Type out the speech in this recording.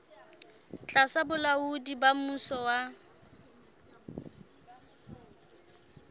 tlasa bolaodi ba mmuso wa